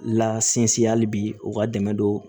La sinsin hali bi u ka dɛmɛ don